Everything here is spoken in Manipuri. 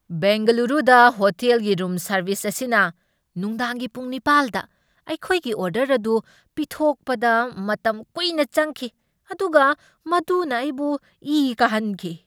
ꯕꯦꯡꯒꯂꯨꯔꯨꯗ ꯍꯣꯇꯦꯜꯒꯤ ꯔꯨꯝ ꯁꯔꯕꯤꯁ ꯑꯁꯤꯅ ꯅꯨꯡꯗꯥꯡꯒꯤ ꯄꯨꯡ ꯅꯤꯄꯥꯜꯗ ꯑꯩꯈꯣꯏꯒꯤ ꯑꯣꯔꯗꯔ ꯑꯗꯨ ꯄꯤꯊꯣꯛꯄꯗ ꯃꯇꯝ ꯀꯨꯏꯅ ꯆꯪꯈꯤ, ꯑꯗꯨꯒ ꯃꯗꯨꯅ ꯑꯩꯕꯨ ꯏ ꯀꯥꯍꯟꯈꯤ꯫